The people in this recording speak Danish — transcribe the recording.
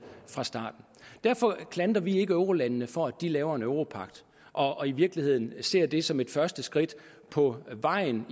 fra starten derfor klandrer vi ikke eurolandene for at de laver en europagt og i virkeligheden ser det som et første skridt på vejen